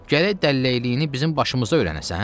Gərək dəlləkliyini bizim başımızda öyrənəsən?